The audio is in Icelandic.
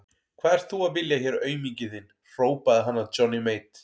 Hvað ert þú að vilja hér auminginn þinn, hrópaði hann að Johnny Mate.